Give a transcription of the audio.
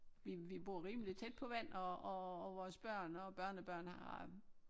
Vi vi bor rimelig tæt på vand og og og vores børn og børnebørn har